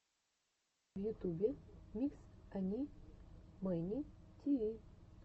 в ютубе микс ани мэни тиви